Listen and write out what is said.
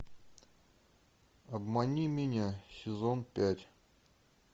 обмани меня сезон пять